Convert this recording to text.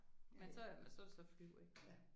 Men så så er det så flyv ik